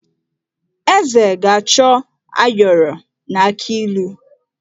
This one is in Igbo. Eze ga-achọ ayọrọ na akị ilu.